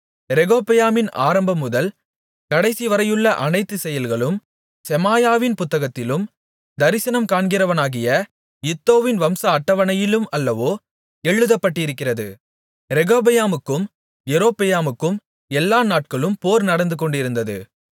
ரெகொபெயாமின் ஆரம்பம்முதல் கடைசிவரையுள்ள அனைத்து செயல்களும் செமாயாவின் புத்தகத்திலும் தரிசனம் காண்கிறவனாகிய இத்தோவின் வம்ச அட்டவணையிலும் அல்லவோ எழுதப்பட்டிருக்கிறது ரெகொபெயாமுக்கும் யெரொபெயாமுக்கும் எல்லா நாட்களும் போர் நடந்துகொண்டிருந்தது